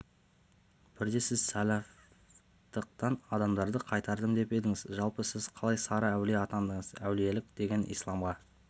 бірде сіз сәлафтықтан адамдарды қайтардым деп едіңіз жалпы сіз қалай сары әулие атандыңыз әулиелік деген исламға